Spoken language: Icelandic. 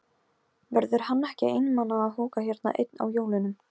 Verður hann ekki einmana að húka hérna einn á jólunum?